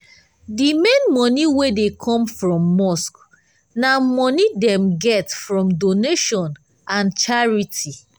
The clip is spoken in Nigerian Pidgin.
d main money wey dey come from mosque na money dem get from donation and and charity.